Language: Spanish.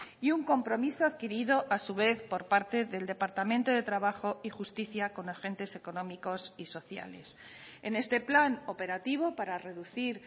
y un compromiso adquirido a su vez por parte del departamento de trabajo y justicia con agentes económicos y sociales en este plan operativo para reducir